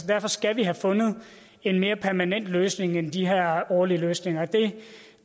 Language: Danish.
derfor skal vi have fundet en mere permanent løsning end de her årlige løsninger